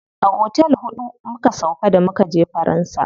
A otel huɗu muka sauƙa da mukaje faransa.